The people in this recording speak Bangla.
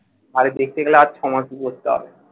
আরে দেখতে গেলে আজ সমাজকে গড়তে হবে।